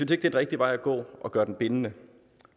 det er den rigtige vej at gå at gøre den bindende